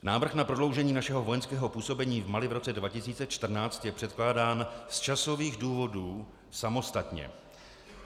Návrh na prodloužení našeho vojenského působení v Mali v roce 2014 je předkládán z časových důvodů samostatně.